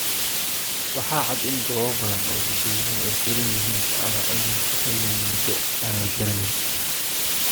waxaa cad in goobo badan oo dadwaynuhu ay xidhan yihiin ama aanay shaqaynayn muddo aan la garanayn.